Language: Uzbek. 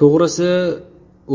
To‘g‘risi